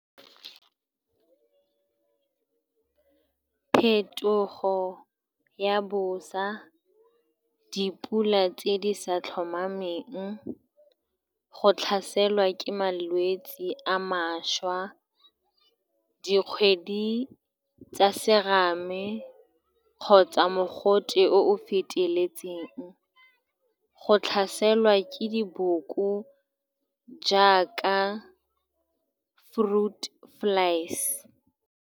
Phetogo ya bosa, dipula tse di sa tlhomameng, go tlhaselwa ke malwetse a mašwa, dikgwedi tsa serame kgotsa mogote o o feteletseng, le go tlhaselwa ke diboko jaaka fruit flies.